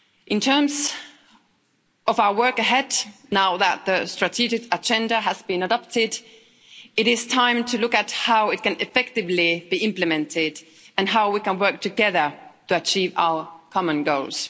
In terms of our work ahead, now that the strategic agenda has been adopted, it is time to look at how it can effectively be implemented and how we can work together to achieve our common goals.